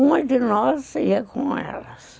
Uma de nós ia com elas.